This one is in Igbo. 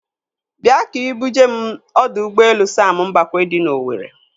Bịa ka ị bu jee m ọdọ ụgbọelu Sam Mbakwe dị n'Owere.